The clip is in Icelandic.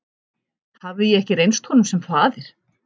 Hafði ég ekki reynst honum sem faðir?